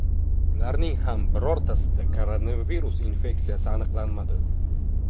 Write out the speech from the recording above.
Ularning ham birortasida koronavirus infeksiyasi aniqlanmadi.